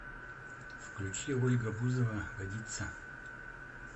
включи ольга бузова водица